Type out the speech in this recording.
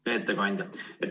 Hea ettekandja!